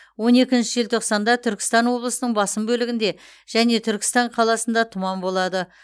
он екінші желтоқсанда түркістан облысының басым бөлігінде және түркістан қаласында тұман болады